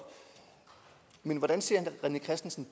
men hvordan ser herre rené christensen